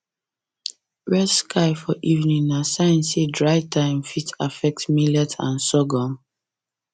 red sky for evening na sign say dry time fit affect millet and sorghum